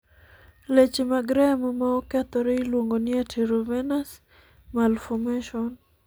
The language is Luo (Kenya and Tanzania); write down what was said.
leche mag remo ma okethore iluongo ni arteriovenous malformation